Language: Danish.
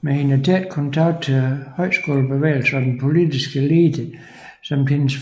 Med hendes tætte kontakt til højskolebevægelsen og den politiske elite samt hendes